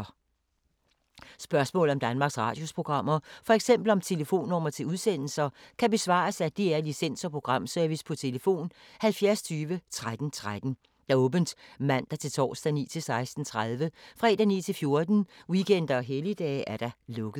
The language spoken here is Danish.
Spørgsmål om Danmarks Radios programmer, f.eks. om telefonnumre til udsendelser, kan besvares af DR Licens- og Programservice: tlf. 70 20 13 13, åbent mandag-torsdag 9.00-16.30, fredag 9.00-14.00, weekender og helligdage: lukket.